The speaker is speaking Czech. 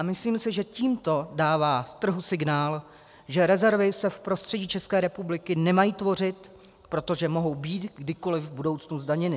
A myslím si, že tímto dává trhu signál, že rezervy se v prostředí České republiky nemají tvořit, protože mohou být kdykoli v budoucnu zdaněny.